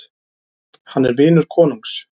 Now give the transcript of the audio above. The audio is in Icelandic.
Hann er vinur konungs.